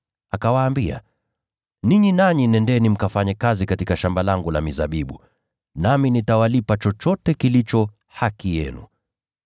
Akawaambia, ‘Ninyi nanyi nendeni mkafanye kazi katika shamba langu la mizabibu, nami nitawalipa chochote kilicho haki yenu.’